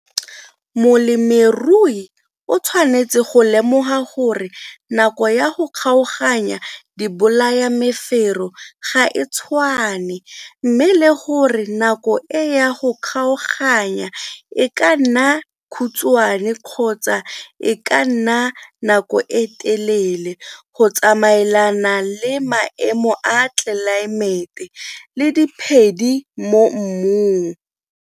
Molemirui o tshwanetse go lemoga gore nako ya go kgaoganya ya dibolayamefero ga e tshwane mme le gore nako e ya go kgaoganya e ka nna khutswane kgotsa e ka nna nako e telele go tsamaelana le maemo a tlelaemete le diphedi mo mmung.